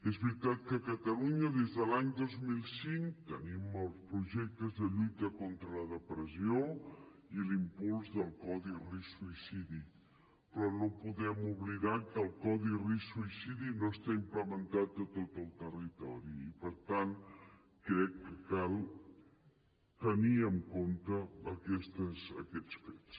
és veritat que a catalunya des de l’any dos mil cinc tenim els projectes de lluita contra la depressió i l’impuls del codi risc suïcidi però no podem oblidar que el codi risc suïcidi no està implementat a tot el territori i per tant crec que cal tenir en compte aquests fets